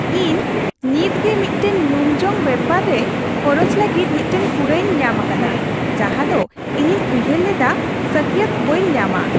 ᱤᱧ ᱱᱤᱛᱜᱮ ᱢᱤᱫᱴᱟᱝ ᱧᱩᱢᱡᱚᱝ ᱵᱮᱯᱟᱨᱟ ᱨᱮ ᱠᱷᱚᱨᱚᱪ ᱞᱟᱹᱜᱤᱫ ᱢᱤᱫᱴᱟᱝ ᱠᱩᱲᱟᱹᱭᱤᱧ ᱧᱟᱢ ᱟᱠᱟᱫᱟ ᱡᱟᱦᱟ ᱫᱚ ᱤᱧᱤᱧ ᱩᱭᱦᱟᱹᱨ ᱞᱮᱫᱟ ᱥᱟᱹᱠᱭᱟᱹᱛ ᱵᱟᱹᱧ ᱧᱟᱢᱟ ᱾